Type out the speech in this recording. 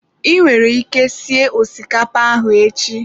I nwere ike sie osikapa ahụ echi.